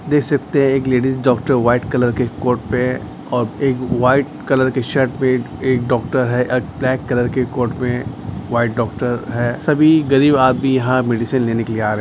देख सकते है एक लेडिस डॉक्टर व्हाइट कलर के कोट पे है और एक वाइट कलर की शर्ट में एक डॉक्टर है ब्लैक कलर के कोर्ट में वाइट डॉक्टर है सभी गरीब आदमी यहाँ मेडिसिन लेने के लिए आ रहे है।